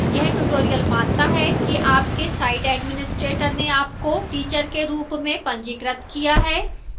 यह tutorial मानता है कि आपके site administrator ने आपको teacher के रूप में पंजीकृत किया है